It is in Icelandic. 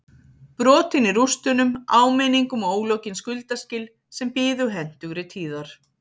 Brotin í rústunum áminning um ólokin skuldaskil sem biðu hentugri tíðar